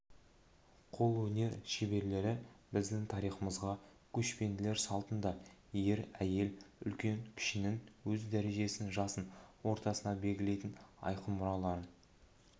қолөнер шеберлері біздің тарихымызға көшпенділер салтында ер-әйел үлкен-кішінің өз дәрежесін жасын ортасын белгілейтін айқын мұраларын